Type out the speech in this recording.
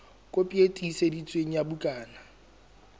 kopi e tiiseditsweng ya bukana